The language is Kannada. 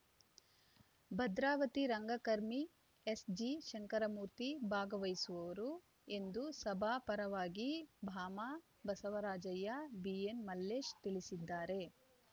ಭದ್ರಾವತಿ ರಂಗಕರ್ಮಿ ಎಸ್‌ಜಿಶಂಕರಮೂರ್ತಿ ಭಾಗವಹಿಸುವರು ಎಂದು ಸಭಾ ಪರವಾಗಿ ಬಾಮ ಬಸವರಾಜಯ್ಯ ಬಿಎನ್‌ಮಲ್ಲೇಶ ತಿಳಿಸಿದ್ದಾರೆ